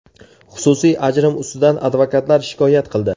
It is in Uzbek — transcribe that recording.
Xususiy ajrim ustidan advokatlar shikoyat qildi.